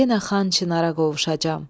Yenə Xan Çinara qovuşacam.